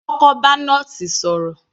Kọ́kọ́ bá nọ́ọ̀sì sọ̀rọ̀